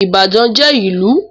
Ìbàdàn jẹ́ ìlù.